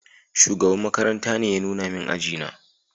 Shugaban makaranta ne ya nuna min aji na